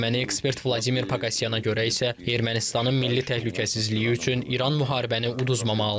Erməni ekspert Vladimir Pakaqiana görə isə Ermənistanın milli təhlükəsizliyi üçün İran müharibəni uduzmamalıdır.